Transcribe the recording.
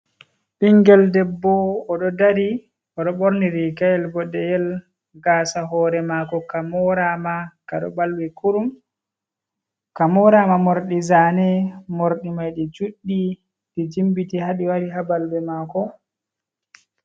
Bingel ɗebbo oɗo ɗari. oɗo borni rigayel boɗeyel. Gasa hore mako ka morama. Kaɗo balwi kurum. ka morama morɗi zane. morɗi mai ɗi juɗɗi ɗe jimbiti haɗi wari ha balbe mako.